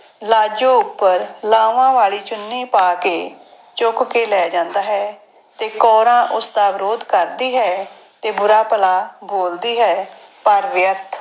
ਲਾਜੋ ਉੱਪਰ ਲਾਵਾਂ ਵਾਲੀ ਚੁੰਨੀ ਪਾ ਕੇ ਚੁੱਕ ਕੇ ਲੈ ਜਾਂਦਾ ਹੈ ਤੇ ਕੌਰਾਂ ਉਸਦਾ ਵਿਰੋਧ ਕਰਦੀ ਹੈ ਤੇ ਬੁਰਾ ਭਲਾ ਬੋਲਦੀ ਹੈ, ਪਰ ਵਿਅਰਥ।